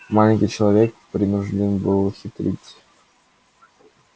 маленький человек принуждён был хитрить